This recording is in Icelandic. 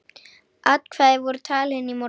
Atkvæði voru talin í morgun